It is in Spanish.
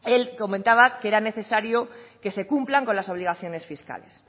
él comentaba que era necesario que se cumplan con las obligaciones fiscales